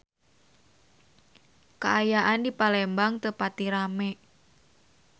Kaayaan di Palembang teu pati rame